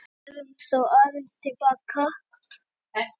Förum þá aðeins til baka.